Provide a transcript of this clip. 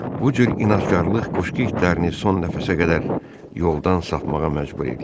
Bu cür inadkarlıq qoşqu itlərini son nəfəsə qədər yoldan sapmağa məcbur eləyir.